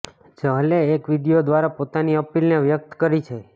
ચહલે એક વિડિયો દ્વારા પોતાની અપીલને વ્યક્ત કરી છે